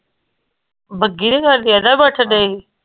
ਪੁੱਛਦੇ ਹੀ